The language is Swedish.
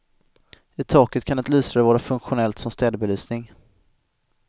I taket kan ett lysrör vara funktionellt som städbelysning.